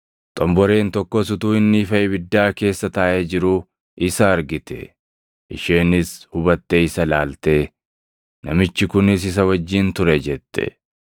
Xomboreen tokkos utuu inni ifa ibiddaa keessa taaʼee jiruu isa argite. Isheenis hubattee isa ilaaltee, “Namichi kunis isa wajjin ture” jette.